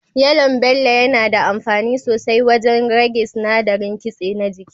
Yalon Bello yana da amfani sosai wajen rage sinadarin kitse na jiki.